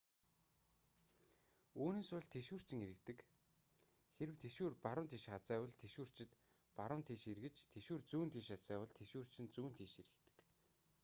үүнээс болж тэшүүрчин эргэдэг хэрэв тэшүүр баруун тийш хазайвал тэшүүрчид баруун тийш эргэж тэшүүр зүүн тийш хазайвал тэшүүрчин зүүн тийш эргэдэг